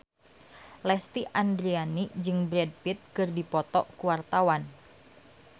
Lesti Andryani jeung Brad Pitt keur dipoto ku wartawan